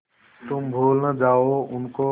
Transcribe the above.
तुम भूल न जाओ उनको